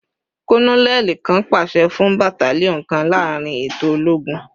Kononeli kan paṣẹ fun battalion kan laarin eto ologun